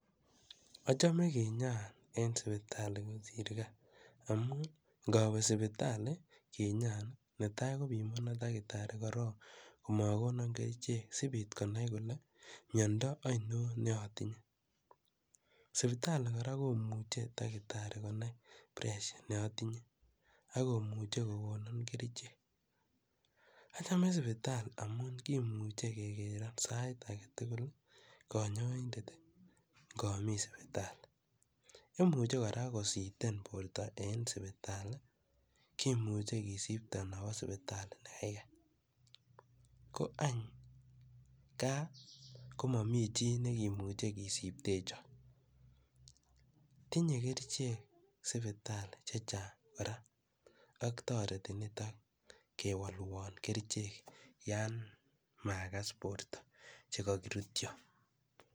Achame kinyaa en sipitali kosir gaa amun ngawe sipitali kinyaan, netai kopimanan daktari korok komakonan kerichek, sipit konai kole mianda ainon ne a tinye. Sipitali kora komuchi konai dakitari pressure ne atinye ako muchi kokonan kerichek. Achame sipitali amun kimuchen kekero sait age tugul kanyaindet ngami sipitali. Imuchi kora kositen porta ngami sipitali kimuchu kisiptan awa sipitali ne kaikai.